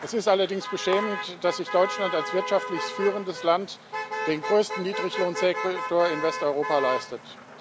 Es ist allerdings beschämend, dass sich Deutschland als wirtschaftlich führendes Land den größten Niedriglohnsektor in Westeuropa leistet.